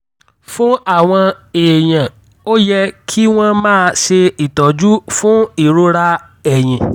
fún àwọn èèyàn ó yẹ kí wọ́n máa ṣe ìtọ́jú fún ìrora ẹ̀yìn